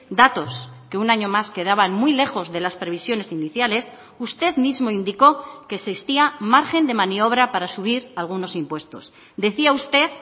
datos que un año más quedaban muy lejos de las previsiones iniciales usted mismo indicó que existía margen de maniobra para subir algunos impuestos decía usted